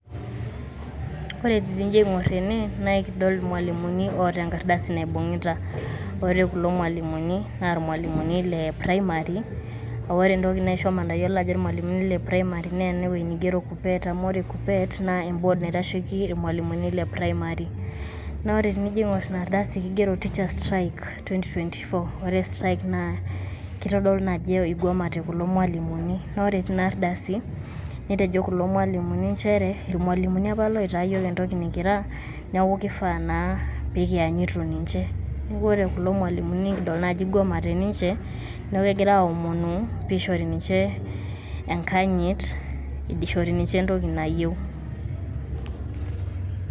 Ore tenijo aing`or ene naa ekidol ilmalimuni oota enkarddasi naaibung`ita, ore kulo mwalimuni naa ilmalimunii le primary. Ore entoki naisho matayiolo ajo ilmalimuni le primary naa KUPPET. Amu ore KUPPET naa e board naitasheki ilmalimuni le primary. Naa ore tenijo aing`orr ina ardasi naa kigero Teacher`s strike twenty twenty four. Ore strike naa keitodolu naa ajo ikwamaite kulo malimunii, naa ore teina ardasi netejo kulo malimuni nchere; ilmwalimuni apa oita iyiok entoki nikira niaku kifaa naa pee kianyitu ninche. Niaku ore kulo malimunii idol naa ajo ikwamaite ninche niaku kegira aomonu pee ishori ninche enkanyit ishori ninche entoki nayieu.